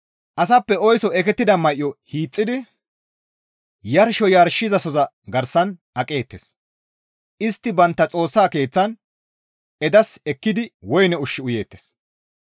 Asappe oyso ekettida may7o hiixxidi Yarsho yarshizasoza garsan aqeettes; istti bantta xoossa keeththan edasi ekkidi woyne ushshu izan uyeettes.